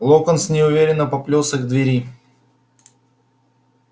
локонс неуверенно поплёлся к двери